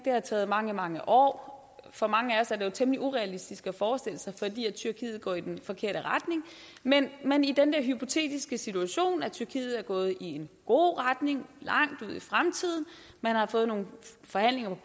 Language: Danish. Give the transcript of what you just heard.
har taget mange mange år for mange af os er det jo temmelig urealistisk at forestille sig fordi tyrkiet går i den forkerte retning men men i den der hypotetiske situation at tyrkiet er gået i en god retning langt ud i fremtiden at man har fået nogle forhandlinger på